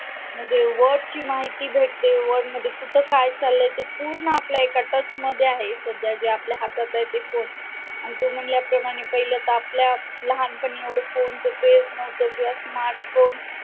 म्हणजे world ची माहिती भेटते world मध्ये कुठं काय चाललं आहे ते पूर्ण आपल्या एका touch मध्ये आहे जे जे आपल्या हातात आहे ते आणि तू म्हणल्याप्रमाणे तर पहिलं तर आपल्या कोण फोन हेच नव्हतं किंवा smart phone